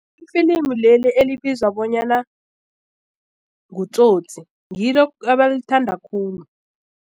Ifilimu leli elibizwa bonyana nguTsotsi ngilo abalithanda khulu.